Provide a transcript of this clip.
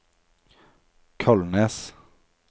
Kolnes